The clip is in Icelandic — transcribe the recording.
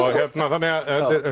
þannig að